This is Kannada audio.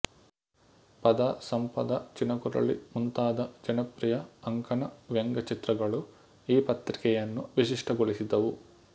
ಪದ ಸಂಪದ ಚಿನಕುರಳಿ ಮುಂತಾದ ಜನಪ್ರಿಯ ಅಂಕಣವ್ಯಂಗ್ಯಚಿತ್ರಗಳು ಈ ಪತ್ರಿಕೆಯನ್ನು ವಿಶಿಷ್ಟಗೊಳಿಸಿದವು